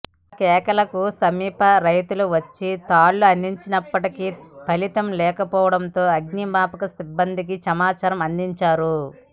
ఆ కేకలకు సమీప రైతులు వచ్చి తాళ్లు అందించినప్పటికీ ఫలితం లేకపోవడంతో అగ్నిమాపక సిబ్బందికి సమాచారం అందించారు